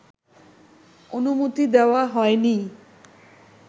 অনুমতি দেওয়া হয়নি